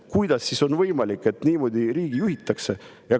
Kuidas ikkagi on võimalik, et niimoodi riiki juhitakse?